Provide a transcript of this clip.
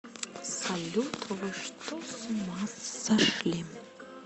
салют вы что с ума сошли